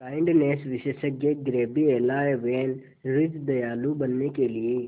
kindness विशेषज्ञ Gabriela van Rij दयालु बनने के लिए